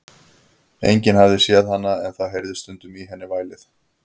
Enginn hafði séð hana, en það heyrðist stundum í henni vælið.